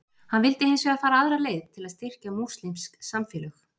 Hann vildi hins vegar fara aðra leið til að styrkja múslímsk samfélög.